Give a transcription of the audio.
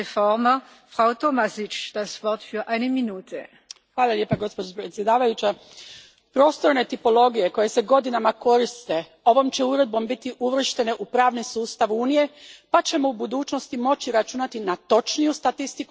Gospođo predsjednice, prostorne tipologije koje se godinama koriste ovom će uredbom biti uvrštene u pravni sustav Unije pa ćemo u budućnosti moći računati na točniju statistiku prema kojoj se kroje brojne europske politike.